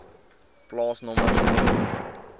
plaasnommer gedeelte